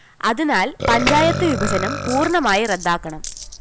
അതിനാല്‍ പഞ്ചായത്ത് വിഭജനം പൂര്‍ണമായി റദ്ദാക്കണം